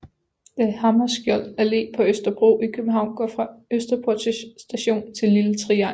Dag Hammarskjölds Allé på Østerbro i København går fra Østerport Station til Lille Triangel